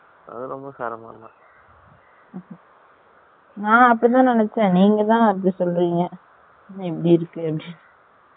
நான் அப்டி தான் நினசென் நீங்க தான் இப்டி சொல்ரீங்க இபடி இருக்கு நு